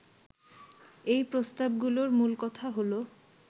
এই প্রস্তাবগুলোর মূল কথা হলো